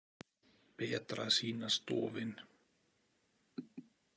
Betra að sýnast dofin.